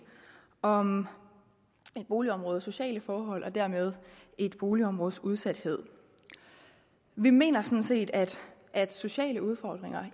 om et boligområdes sociale forhold og dermed et boligområdes udsathed vi mener sådan set at at sociale udfordringer